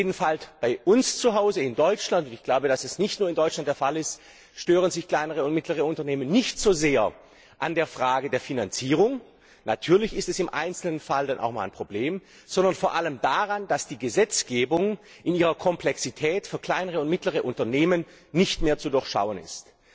Jedenfalls bei uns zuhause in Deutschland und ich glaube, dass das nicht nur in Deutschland der Fall ist stören sich kleine und mittlere Unternehmen nicht so sehr an der Frage der Finanzierung natürlich ist das im einzelnen Fall auch einmal ein Problem sondern vor allem daran, dass die Gesetzgebung in ihrer Komplexität für kleine und mittlere Unternehmen nicht mehr zu durchschauen ist.